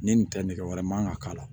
Ni nin tɛ nɛgɛ wɛrɛ man kan ka k'a la